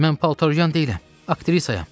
Mən paltaryuyan deyiləm, aktrisayam.